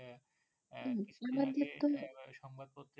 সম্ভাব্য